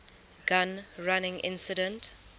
gun running incident